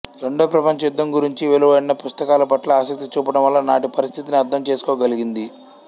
రెండో ప్రపంచ యుద్ధం గురించి వెలువడిన పుస్తకాల పట్ల ఆసక్తి చూపడం వల్ల నాటి పరిస్థితిని అర్థం చేసుకోగలిగింది